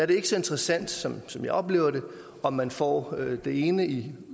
det ikke så interessant sådan som jeg oplever det om man får det ene i